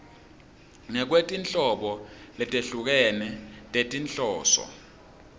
ngekwetinhlobo letehlukene tetinhloso